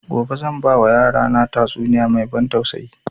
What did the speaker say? Gobe zan ba wa yara na tatsuniya mai ban tausayi